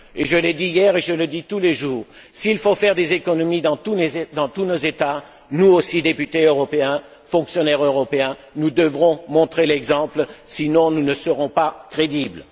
Je l'ai dit hier et je le dis tous les jours s'il faut faire des économies dans tous nos États, nous aussi, députés européens, fonctionnaires européens, nous devrons montrer l'exemple, sinon nous ne serons pas crédibles.